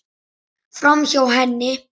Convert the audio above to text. Framhjá henni.